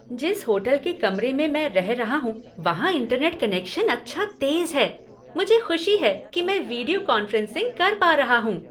जिस होटल के कमरे में मैं रह रहा हूँ, वहां इंटरनेट कनेक्शन अच्छा तेज है। मुझे खुशी है कि मैं वीडियो कॉन्फ्रेंसिंग कर पा रहा हूँ।